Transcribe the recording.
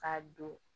K'a don